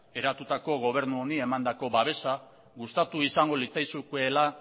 eratutako gobernu honi emandako babesa gustatu izango litzaizukeela